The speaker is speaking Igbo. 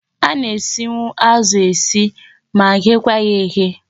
A na-esinwu azụ esi ma ghekwa ya eghe.